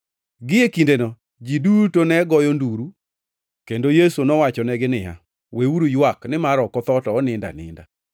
Gie kindeno, ji duto ne goyo nduru kendo Yesu nowachonegi niya, “Weuru ywak nimar ok otho to onindo aninda.”